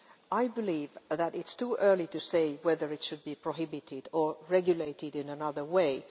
I believe that it is too early to say whether it should be prohibited or regulated in another way.